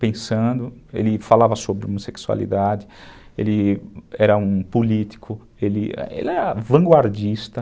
Pensando, ele falava sobre homossexualidade, ele era um político, ele era vanguardista.